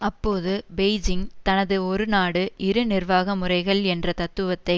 அப்போது பெய்ஜிங் தனது ஒரு நாடு இரு நிர்வாக முறைகள் என்ற தத்துவத்தை